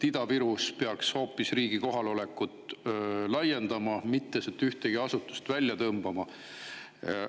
Ida-Virus peaks hoopis riigi kohalolekut laiendama, sealt ei tohi ühtegi asutust välja.